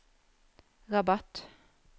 Rabat